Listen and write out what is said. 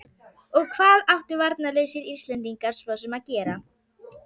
Og hvað áttu varnarlausir Íslendingar svo sem að gera?